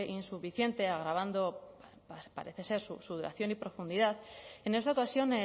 insuficiente agravando parece ser su duración y profundidad en esta ocasión